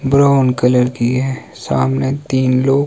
brown colour की हैं सामने तीन लोग--